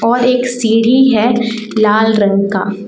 और एक सीढ़ी है लाल रंग का।